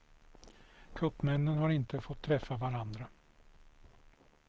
Kuppmännen har inte fått träffa varandra.